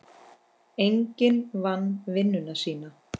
Enginn vann vinnuna sína.